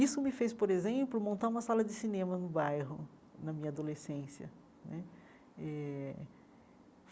Isso me fez, por exemplo, montar uma sala de cinema no bairro, na minha adolescência né eh.